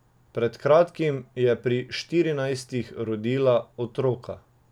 Pred kratkim je pri štirinajstih rodila otroka.